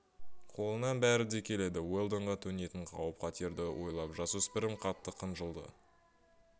қолынан бәрі де келеді уэлдонға төнетін қауіп-қатерді ойлап жасөспірім қатты қынжылды